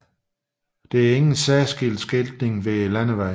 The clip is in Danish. Der er ingen særlig skiltning ved landevejen